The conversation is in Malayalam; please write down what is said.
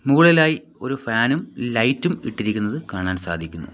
മുകളിലായി ഒരു ഫാനും ലൈറ്റും ഇട്ടിരിക്കുന്നത് കാണാൻ സാധിക്കുന്നു.